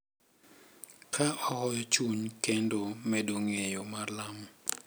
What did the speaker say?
Ka ohoyo chuny kendo medo ng’eyo mar lamo.